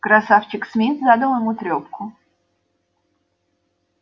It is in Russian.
красавчик смит задал ему трёпку